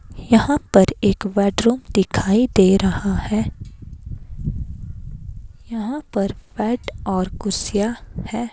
यहां पर एक बेड रूम दिखाई दे रहा है यहां पर बेड और कुर्सियां हैं।